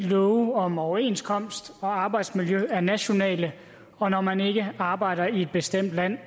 love om overenskomst og arbejdsmiljø er nationale og når man ikke arbejder i et bestemt land